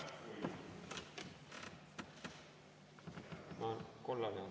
Aitäh!